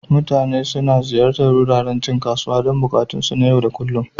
Mutane suna ziyartar wuraren cin kasuwa don buƙatunsu na yau da kullun.